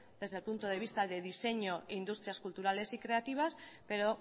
desde el punto de vista de diseño e industrias culturales y creativas pero